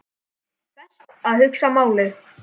Best að hugsa málið.